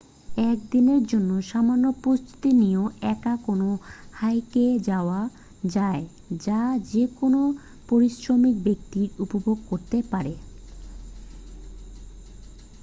এক দিনের জন্য সামান্য প্রস্তুতি নিয়েও একা কোন হাইকে যাওয়া যায় যা যে কোন পরিশ্রমী ব্যক্তি উপভোগ করতে পারে